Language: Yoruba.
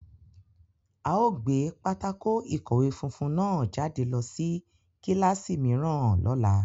A o gbe pátákó-ikọwe funfun náà jade lọ si kilasi miiran lọla